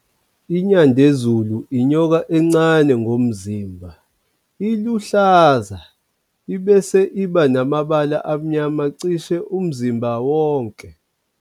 INyandezulu, inyoka encane ngomzimbha, iluhlaza, ebese iba namabala amnyama cishe umzimbha wonke.